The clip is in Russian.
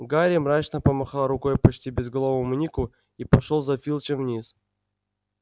гарри мрачно помахал рукой почти безголовому нику и пошёл за филчем вниз